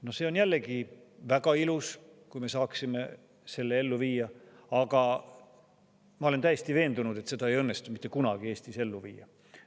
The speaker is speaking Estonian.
No see on jällegi väga ilus, kui me saaksime selle ellu viia, aga ma olen täiesti veendunud, et seda ei õnnestu mitte kunagi Eestis ellu viia.